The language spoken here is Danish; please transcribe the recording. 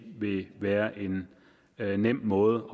vil være en nem måde